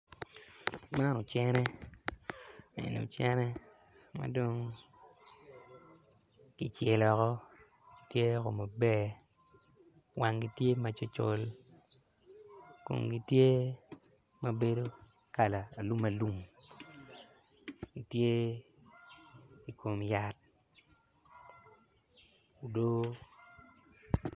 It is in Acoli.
Man ocenne madong kicelo woko tye maber wangi tye macolcol komgi tye mabedo kala alumalum gity ei komyat odoo.